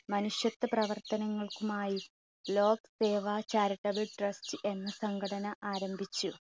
മനുഷ്യത്വ പ്രവർത്തനങ്ങൾക്കുമായി lok seva charitable trust എന്ന സംഘടന ആരംഭിച്ചു.